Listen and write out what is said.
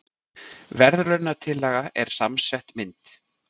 Verðlaunatillagan er samsett mynd